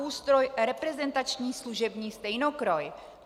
Ústroj reprezentační služební stejnokroj."